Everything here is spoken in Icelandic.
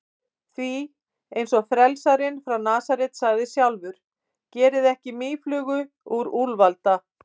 Því, eins og frelsarinn frá Nasaret sagði sjálfur: Gerið ekki mýflugu úr úlfalda.